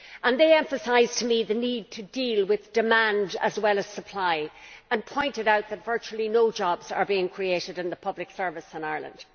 They emphasised to me the need to deal with demand as well as supply and pointed out that virtually no jobs are being created in the public service in Ireland.